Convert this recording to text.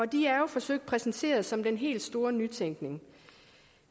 de er jo forsøgt præsenteret som den helt store nytænkning